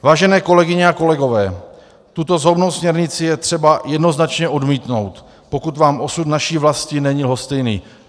Vážené kolegyně a kolegové, tuto zhoubnou směrnici je třeba jednoznačně odmítnout, pokud vám osud naší vlasti není lhostejný.